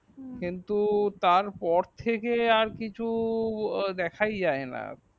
কিন্তু তারপর থেকে আর কিছুই দেখায় যায়না